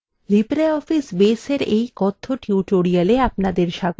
libreoffice baseএর এই কথ্য tutorial আপনাদের স্বাগত